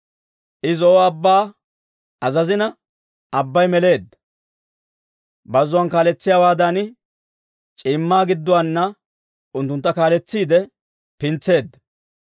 I Zo'o Abbaa azazina, abbay meleedda; bazzuwaan kaaletsiyaawaadan, c'iimmaa gidduwaana unttuntta kaaletsiide pintseedda.